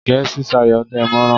Gẹ̀ẹ́sì sayọ̀ dámọ̀ràn.